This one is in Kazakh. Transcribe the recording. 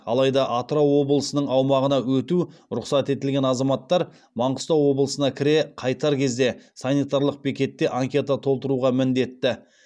алайда атырау облысының аумағына өтуге рұқсат етілген азаматтар маңғыстау облысына кіре қайтар кезде санитарлық бекетте анкета толтыруға міндетті